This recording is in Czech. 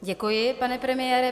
Děkuji, pane premiére.